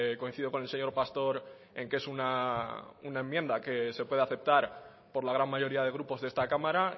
coincido con el señor pastor en que es una enmienda que se puede aceptar por la gran mayoría de grupos de esta cámara